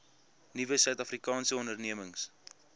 nuwe suidafrikaanse ondernemings